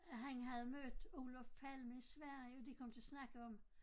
At han havde mødt Olof Palme i Sverige og de kom til at snakke om